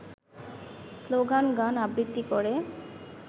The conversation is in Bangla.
স্লোগান-গান-আবৃত্তি করে